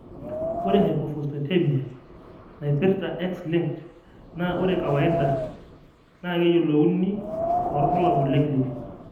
Ore Hypophosphatemia naipirta X linked naa ore kawaida naa keyiolouni too irbulabol le clinic.